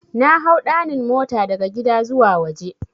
Nahau 'ɗanin' mota daga gida zuwa waje.